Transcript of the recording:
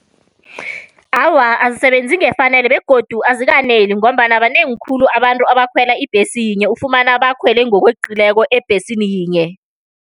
Awa, azisebenzi ngefanelo begodu azikaneli, ngombana banengi khulu abantu abakhwela ibhesi yinye, ufumana bakhwele ngokweqileko ebhesini yinye.